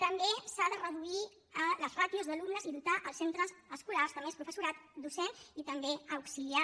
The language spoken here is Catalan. també s’han de reduir les ràtios d’alumnes i dotar els centres escolars de més professorat docent i també auxiliar